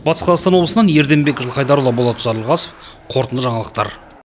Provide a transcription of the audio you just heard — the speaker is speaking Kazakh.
батыс қазақстан облысынан ерденбек жылқайдарұлы болат жарылғасов қорытынды жаңалықтар